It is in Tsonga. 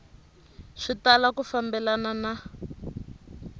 swi tala ku fambelana na